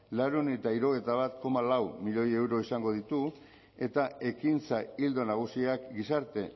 laurehun eta hirurogeita bat koma lau milioi euro izango ditu eta ekintza ildo nagusiak gizarte